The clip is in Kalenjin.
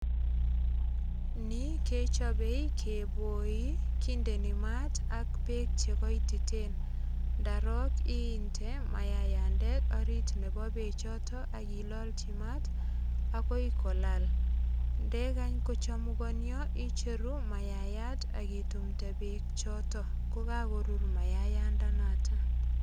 Ni kechopei keboi. Kindeni mat ak beek che goititen. Ndarok inde mayayandet orit nebo beechoto ak ilalji mat agoi kolal. Ndegany kochumugonio icheru mayayat ak itumnde beek choto, ko kagurur mayayandanoto.